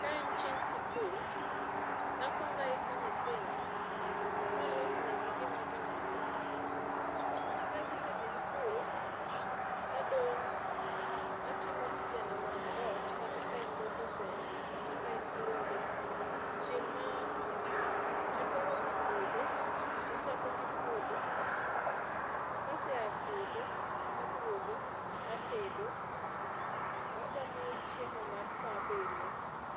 Kaen chieng' sikul to akuong aiko nyithindo ma alosnegi gima gimadho, ka gisedhi sikul to adong' atimo tijena mag ot kata kaen luoko sende kata kaen luoko to chieng' ma adwaro dhi puodho tachako gi puodho kase a e puodho to aduogo atedo ,wachamo chiemo mar saa abirio